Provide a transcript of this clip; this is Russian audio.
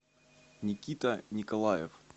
никита николаев